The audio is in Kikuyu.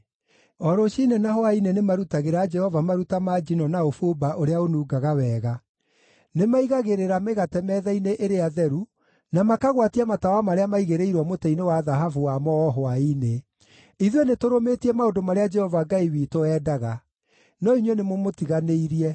O rũciinĩ na hwaĩ-inĩ nĩmarutagĩra Jehova maruta ma njino na ũbumba ũrĩa ũnungaga wega. Nĩmaigagĩrĩra mĩgate metha-inĩ ĩrĩa theru, na makagwatia matawa marĩa maigĩrĩirwo mũtĩ-inĩ wa thahabu wamo o hwaĩ-inĩ. Ithuĩ nĩtũrũmĩtie maũndũ marĩa Jehova Ngai witũ endaga. No inyuĩ nĩmũmũtiganĩirie.